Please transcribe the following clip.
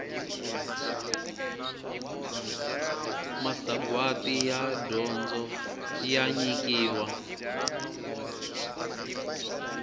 masagwati ya dyondzo ya nyikiwa